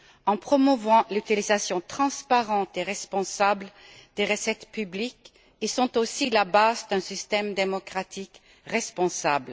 En promouvant l'utilisation transparente et responsable des recettes publiques, ils sont aussi la base d'un système démocratique responsable.